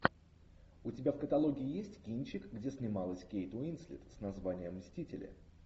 у тебя в каталоге есть кинчик где снималась кейт уинслет с названием мстители